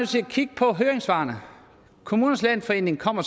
kigge på høringssvarene kommunernes landsforening kommer